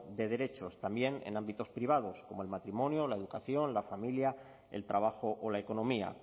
de derechos también en ámbitos privados como el matrimonio la educación la familia el trabajo o la economía